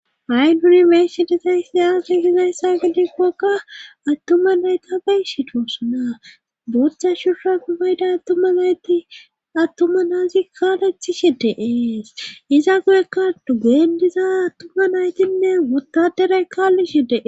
Ha'i nuni beyishe dizay aze gizaysa gidikoka attuma naytafey shido sunaa bochcha shussha gubayday tma nayti attuma naazi kaalethi shi deees iza guyekka dugeendiza attuma naytinnee wottaderay kaalli she dee